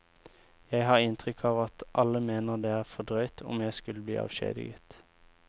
Jeg har inntrykk av at alle mener det er for drøyt om jeg skulle bli avskjediget.